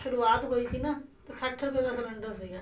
ਸੁਰੂਆਤ ਹੋਈ ਸੀ ਨਾ ਤੇ ਸੱਠ ਰੁਪਏ ਦਾ cylinder ਸੀਗਾ